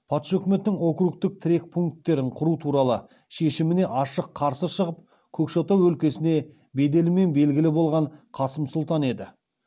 патша өкіметінің округтік тірек пункттер құру туралы шешіміне ашық қарсы шығып көкшетау өлкесіне беделімен белгілі болған қасым сұлтан еді